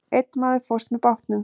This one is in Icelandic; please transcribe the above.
Einn maður fórst með bátnum.